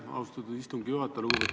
Aitäh, austatud istungi juhataja!